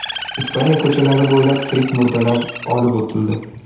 Ispaniya ko‘chalari bo‘ylab tirik murdalar olib o‘tildi.